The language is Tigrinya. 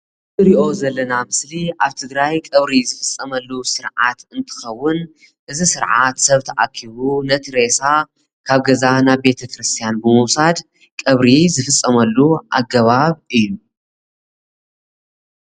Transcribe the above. እቲ እንሪኦ ዘለና ምስሊ አብ ትግራይ ቀብሪ ዝፍፀመሉ ስርዓት እንትኸውን እዚ ስርዓት ሰብ ተአኪቡ ነቲ ሬሳ ካብ ገዛ ናብ ቤተ ክርሰትያን ብምውሳድ ቀብሪ ዝፍፀመሉ አገባብ እዩ።